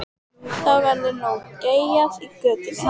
Þá verður nú geyjað í götunni.